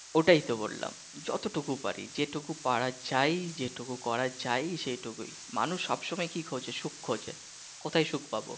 ওইটাই তো বললাম, যতটুকু পারি যেটুকু পারা যায় যেটুকু করা যায় যেটুক করা যাই সেটুকুই মানুষ সব সময় কি খোঁজে সুখ খোঁজে কোথায় সুখ পাবো